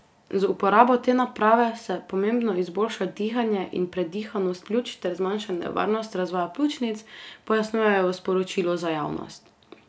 Z uporabo te naprave se pomembno izboljša dihanje in predihanost pljuč ter zmanjša nevarnost razvoja pljučnic, pojasnjujejo v sporočilu za javnost.